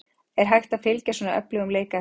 Er hægt að fylgja svona öflugum leik eftir?